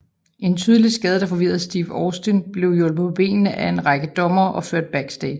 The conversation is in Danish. En tydeligt skadet og forvirret Steve Austin blev hjulpet på benene af en række dommere og ført backstage